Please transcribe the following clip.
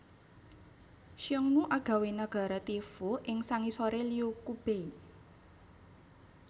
Xiongnu agawé nagara Tiefu ing sangisoré Liu Qubei